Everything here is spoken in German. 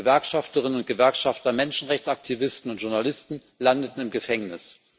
Gewerkschafterinnen und Gewerkschafter, Menschenrechtsaktivisten und Journalisten landeten im Gefängnis.